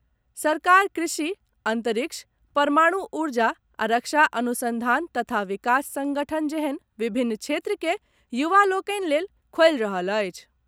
सरकार कृषि, अंतरिक्ष, परमाणु ऊर्जा आ रक्षा अनुसंधान तथा विकास संगठन जेहन विभिन्न क्षेत्र के युवा लोकनि लेल खोलि रहल अछि।